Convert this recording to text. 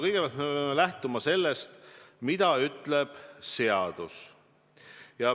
Kõigepealt me peame lähtuma sellest, mida ütleb seadus.